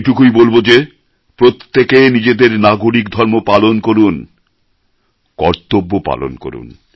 এটুকুই বলব যে প্রত্যেকে নিজেদের নাগরিকধর্ম পালন করুন কর্তব্য পালন করুন